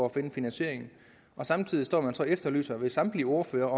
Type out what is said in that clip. at finde finansieringen samtidig står man så og efterlyser hos samtlige ordførere